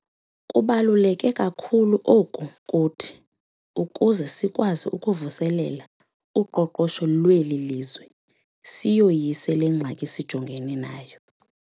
Kubaluleke kakhulu oku kuthi ukuze sikwazi ukuvuselela uqoqosho lweli lizwe siyoyise le ngxaki sijongene nayo.